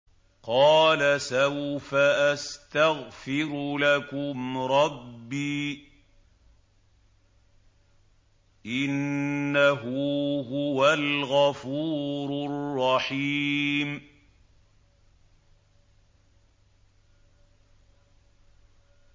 قَالَ سَوْفَ أَسْتَغْفِرُ لَكُمْ رَبِّي ۖ إِنَّهُ هُوَ الْغَفُورُ الرَّحِيمُ